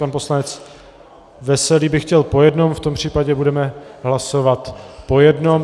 Pan poslanec Veselý by chtěl po jednom, v tom případě budeme hlasovat po jednom.